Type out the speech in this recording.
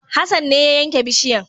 Hassan ne ya yanke bishiyan